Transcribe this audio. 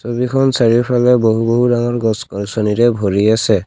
ছবিখন চাৰিওফালে বহু বহু ডাঙৰ গছ গছনিৰে ভৰি আছে।